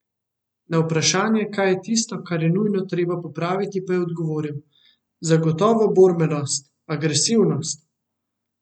Na vprašanje, kaj je tisto, kar je nujno treba popraviti, pa je odgovoril: "Zagotovo borbenost, agresivnost.